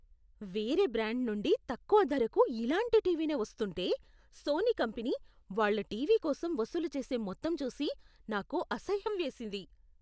వేరే బ్రాండ్ నుండి తక్కువ ధరకు ఇలాంటి టీవీనే వస్తుంటే, సోనీ కంపెనీ, వాళ్ళ టీవీ కోసం వసూలు చేసే మొత్తం చూసి నాకు అసహ్యం వేసింది.